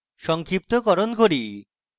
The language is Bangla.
সংক্ষিপ্তকরণ করি